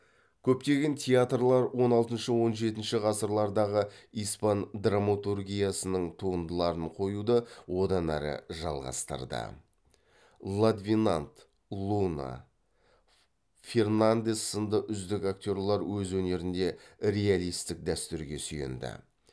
көптеген театрлар он алтыншы он жетінші ғасырлардағы испан драматургиясының туындыларын қоюды одан әрі жалғастырды ладвенант луна фернандес сынды үздік актерлер өз өнерінде реалистік дәстүрге сүйенді